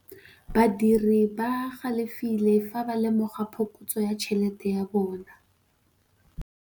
Badiri ba galefile fa ba lemoga phokotsô ya tšhelête ya bone.